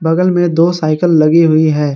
बगल में दो साइकल लगी हुई है।